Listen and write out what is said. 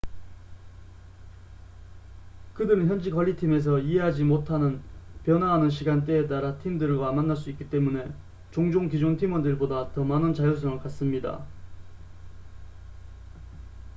그들은 현지 관리팀에서 이해하지 못하는 변화하는 시간대에 따라 팀들과 만날 수 있기 때문에 종종 기존 팀원들 보다 더 많은 자율성을 갖습니다